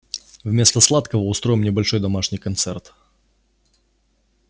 вместо сладкого устроим небольшой домашний концерт